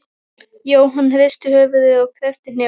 Jóhann hristi höfuðið og kreppti hnefana.